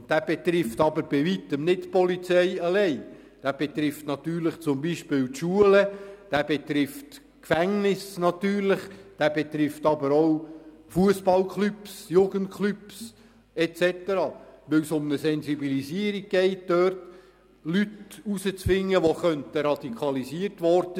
Dieser betrifft aber bei Weitem nicht die Polizei alleine, sondern zum Beispiel auch die Schulen, natürlich Gefängnisse, aber auch Fussballklubs, Jugendklubs et cetera, weil es um eine Sensibilisierung und die Identifizierung von Leuten geht, die vielleicht radikalisiert wurden.